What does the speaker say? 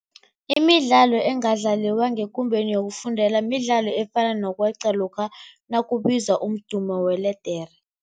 Imidlalo engadlaliwa ngekumbeni yokufundela midlalo efana nokweqa lokha nakubizwa umdumo weledere.